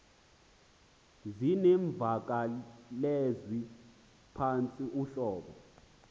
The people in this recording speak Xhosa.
zinemvakalezwi ephantsi uhlobo